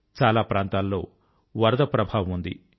చాలా ప్రాంతాల్లో వరద ప్రభావం ఉంది